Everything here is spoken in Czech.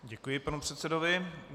Děkuji panu předsedovi.